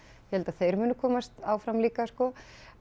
ég held að þeir muni komast áfram líka sko